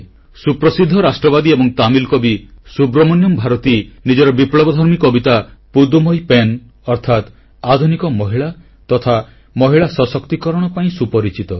ସୁପ୍ରସିଦ୍ଧ ରାଷ୍ଟ୍ରବାଦୀ ଏବଂ ବିପ୍ଲବଧର୍ମୀ ତାମିଲ୍ କବି ସୁବ୍ରମଣ୍ୟମ୍ ଭାରତୀ ନିଜର ବିପ୍ଲବ କବିତା ପୁଦୁମଇ ପେନ୍ନ ପୁଡ୍ଡୁମାଇ ପେନ୍ ଅର୍ଥାତ୍ ଆଧୁନିକ ମହିଳା ତଥା ମହିଳା ସଶକ୍ତିକରଣ ପାଇଁ ସୁପରିଚିତ